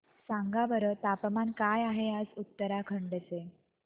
सांगा बरं तापमान काय आहे आज उत्तराखंड चे